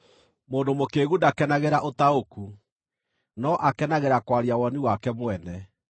Mũndũ mũkĩĩgu ndakenagĩra ũtaũku, no akenagĩra kwaria woni wake mwene.